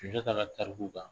Sunjata ka tariku kan